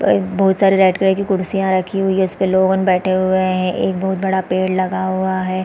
Guys बहुत सारे red colour की कुर्सियां रखी हुई है इसपे लोगन बैठे हुए है एक बहुत बड़ा पेड़ लगा हुआ है।